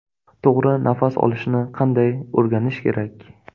To‘g‘ri nafas olishni qanday o‘rganish kerak?